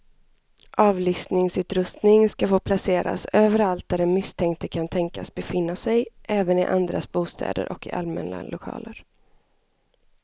Avlyssningsutrustning ska få placeras överallt där den misstänkte kan tänkas befinna sig, även i andras bostäder och i allmänna lokaler.